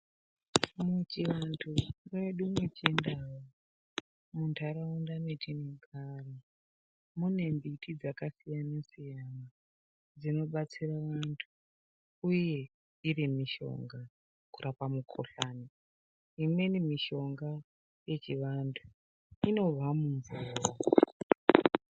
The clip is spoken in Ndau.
Pachivantu pedu peChiNdau muntaraunda mwetinogara mune mbiti dzakasiyana siyana dzinobatsira vantu uye iri mishonga pakurapa mukuhlani. Imweni mishonga inobva mumvura.